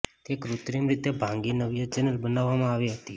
તે કૃત્રિમ રીતે ભાંગી નાવ્ય ચેનલ બનાવવામાં આવી હતી